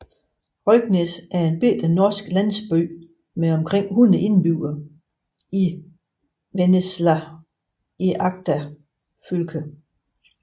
Røyknes er en lille norsk landsby med omkring 100 indbyggere i Vennesla i Agder fylke